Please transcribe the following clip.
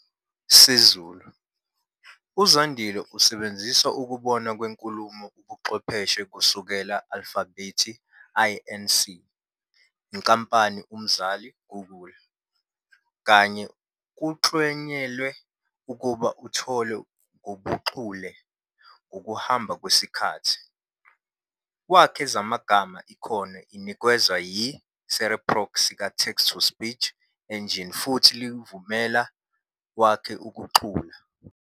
Sezulu. UZandile isebenzisa ukubonwa kwenkulumo ubuchwepheshe kusukela Alfabhethi Inc., inkampani umzali -Google, kanye "kuklanyelwe ukuba uthole ngobuchule ngokuhamba kwesikhathi". Wakhe zamagama ikhono inikezwa yi Cereproc sika Text-to-Speech engine futhi likuvumela wakhe ukucula.